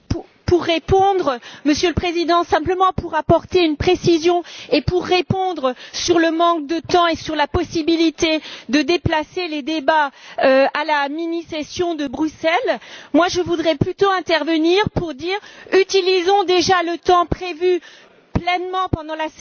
Monsieur le Président, simplement pour apporter une précision, et pour répondre sur le manque de temps et sur la possibilité de déplacer les débats à la mini session de Bruxelles, moi, je voudrais plutôt intervenir pour dire utilisons déjà le temps prévu pleinement pendant la session à Strasbourg.